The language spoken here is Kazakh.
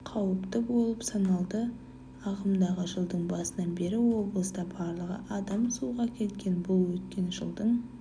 қауіпті болып саналады ағымдағы жылдың басынан бері облыста барлығы адам суға кеткен бұл өткен жылдың